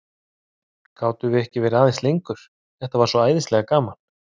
Gátum við ekki verið aðeins lengur, þetta var svo æðislega gaman?